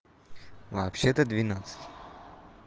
вообще то двенадцать